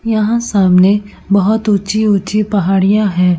यहाँ सामने बहोत उच्ची-उच्ची पहाड़ियां हैं।